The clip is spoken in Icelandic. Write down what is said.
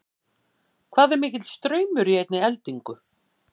Hvað er mikill straumur í einni eldingu?